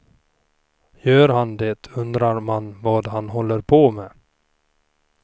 Gör han det undrar man vad han håller på med.